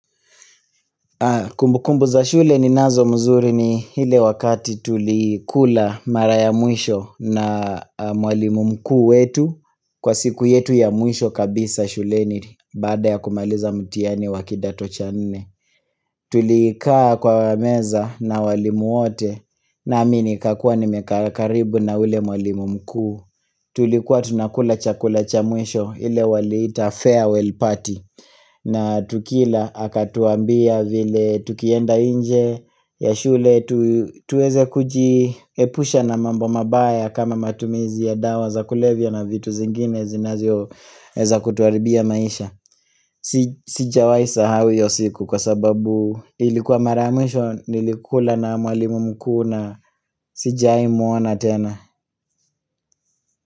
Kumbu kumbu za shule ni nazo mzuri ni hile wakati tulikula mara ya mwisho na mwalimu mkuu wetu kwa siku yetu ya mwisho kabisa shuleniri bada ya kumaliza mtiani wakidato cha nne. Tulikaa kwa meza na walimu wote nami nikakua nimekaa karibu na ule mwalimu mkuu. Tulikuwa tunakula chakula cha mwisho ile waliita farewell party na tukila akatuambia vile tukienda nje ya shule tu tuweze kujiepusha na mambo mabaya kama matumizi ya dawa za kulevya na vitu zingine zinazio heza kutuharibia maisha si Sijawai sahau hiyo siku kwa sababu ilikuwa mara ya mwisho nilikula na mwalimu mkuu na sijaimuona tena.